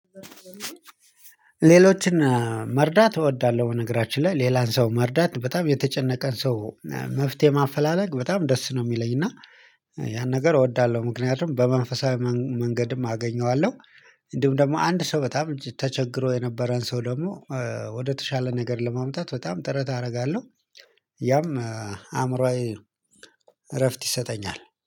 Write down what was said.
ሌሎችን መርዳት እወዳለሁ በነገራችን ላይ ሌላን ሰው መርዳት በጣም የተጨነቀን ሰው መፍትሄ ማፈላለግ በጣም ደስ ነው የሚለኝ እና ያን ነገር እወዳለሁ ምክንያቱም በመንፈሳዊ መንገድም አገኘዋለሁ እንዲሁም ደግሞ አንድ ሰው በጣም ተቸግሮ የነበረን ሰው ደግሞ ወደ ተሻለ ነገር ለማምጣት በጣም ጥረት አረጋለሁ ያም አእምሮአዊ እረፍት ይሰጠኛል።